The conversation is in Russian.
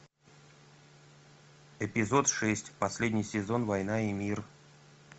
эпизод шесть последний сезон война и мир